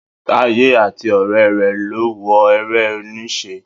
Táyé àti ọ̀rẹ́ rẹ lọ wo eré-oníṣe.